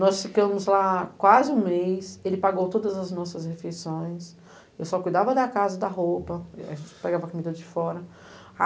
Nós ficamos lá quase um mês, ele pagou todas as nossas refeições, eu só cuidava da casa e da roupa, a gente pegava comida de fora.